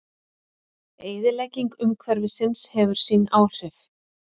Eyðilegging umhverfisins hefur sín áhrif.